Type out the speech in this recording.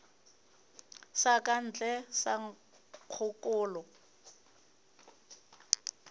sa ka ntle sa nkgokolo